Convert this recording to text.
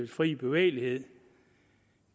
fri bevægelighed